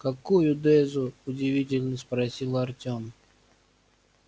какую дезу удивительно спросил артём